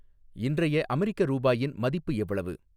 இன்றைய அமெரிக்க ரூபாயின் மதிப்பு எவ்வளவு